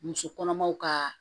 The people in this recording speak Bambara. Muso kɔnɔmaw ka